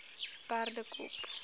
perdekop